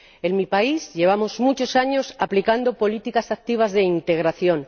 En mi país llevamos muchos años aplicando políticas activas de integración.